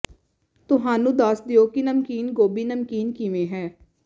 ਤੁਹਾਨੂੰ ਦੱਸ ਦਿਓ ਕਿ ਨਮਕੀਨ ਗੋਭੀ ਨਮਕੀਨ ਕਿਵੇਂ ਹੈ